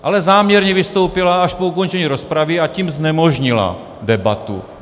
Ale záměrně vystoupila až po ukončení rozpravy, a tím znemožnila debatu.